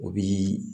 O bi